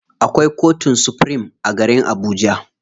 Akwai kotun supirim a garib Abuja.